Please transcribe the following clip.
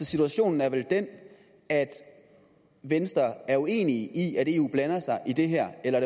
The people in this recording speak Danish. situationen er vel den at venstre er uenig i at eu blander sig i det her eller